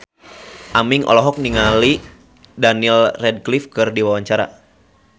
Aming olohok ningali Daniel Radcliffe keur diwawancara